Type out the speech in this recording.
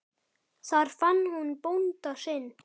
Þar fann hún bónda sinn.